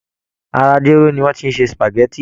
Ara jéró ni wọ́n ti ṣe spageti